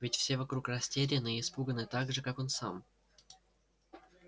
ведь все вокруг растеряны и испуганы так же как он сам